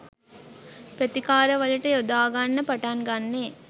ප්‍රතිකාර වලට යොදා ගන්න පටන් ගන්නේ.